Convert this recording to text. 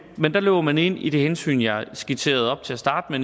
men der løber man ind i det hensyn jeg skitserede til at starte